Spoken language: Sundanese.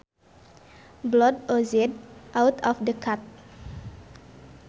Blood oozed out of the cut